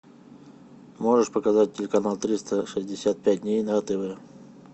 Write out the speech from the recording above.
можешь показать телеканал триста шестьдесят пять дней на тв